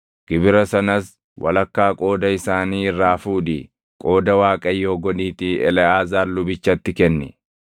Gibira sanas walakkaa qooda isaanii irraa fuudhii qooda Waaqayyoo godhiitii Eleʼaazaar lubichatti kenni.